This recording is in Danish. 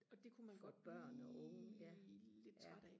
og det kunne man godt blive lidt træt af